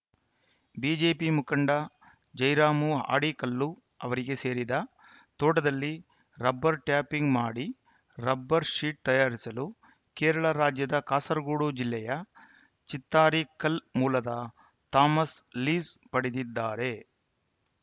BJP ಮುಖಂಡ ಜಯರಾಮ ಹಾಡಿಕಲ್ಲು ಅವರಿಗೆ ಸೇರಿದ ತೋಟದಲ್ಲಿ ರಬ್ಬರ್‌ ಟ್ಯಾಪಿಂಗ್‌ ಮಾಡಿ ರಬ್ಬರ್‌ ಶೀಟ್‌ ತಯಾರಿಸಲು ಕೇರಳ ರಾಜ್ಯದ ಕಾಸರಗೋಡು ಜಿಲ್ಲೆಯ ಚಿತ್ತಾರಿಕಲ್‌ ಮೂಲದ ಥಾಮಸ್‌ ಲೀಸ್‌ ಪಡೆದಿದ್ದಾರೆ